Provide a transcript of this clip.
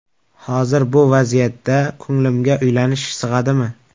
Hozir bu vaziyatda ko‘nglimga uylanish sig‘adimi?